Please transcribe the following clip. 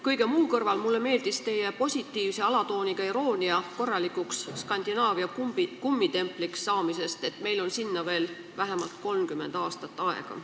Kõige muu kõrval meeldis mulle teie positiivse alatooniga iroonia, kui te rääkisite, et korralikuks Skandinaavia kummitempliks saamiseni on meil veel vähemalt 30 aastat aega.